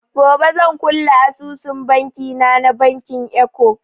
Gobe zan kulle asusun banki na na bankin eko.